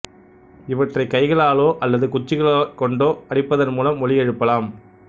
இவற்றை கைகளாலோ அல்லது குச்சிகளை கொண்டோ அடிப்பதன் மூலம் ஒலி எழுப்பலாம்